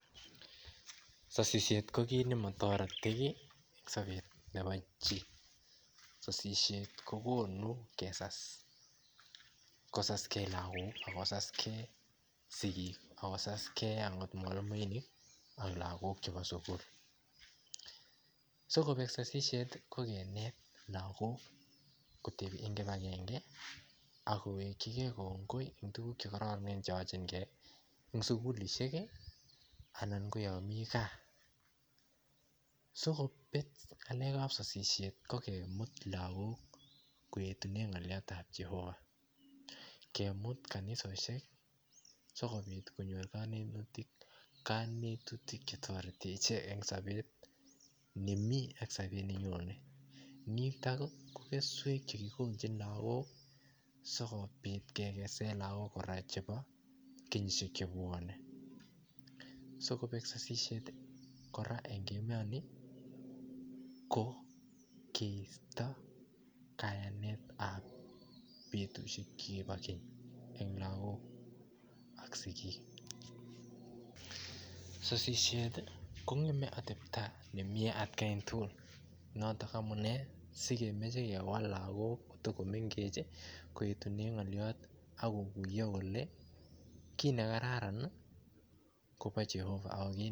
Sasisiet ko kit nematoreti ki nebo chi. Sasisiet ko konu kosaske lakok akosaske . Ak lakok chebo sugul , sikobek sasisiet ko kinet lakok kotebie en kibakenge akoyachike tukuk chekororon en sugulisiek anan ko yoon mi gaa. Sigobet ng'alekab sasisiet ko kinet lakok koetunen ng'aliot tab cheoba kemutak kanisiosiek sikobit kanetutik chetoreti che en sabet ne mii en niton ih ko keswek chekikochin lakok sikobit kekesen lakok chebo kenyisiek cheboane, sikobek sasisiet en emoni ko kista kayanetab betusiek chebo keny en lakok ak sikik sasisiet ih kokonu atebtap neya en atkai tugul noton amunee sikemach kewal lagok koetunen ng'aliot akokuyo kole kit nekararan